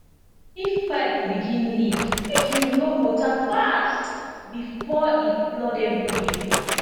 if pipe begin leak make you lock water fast before e flood everywhere